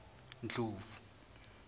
ndlovu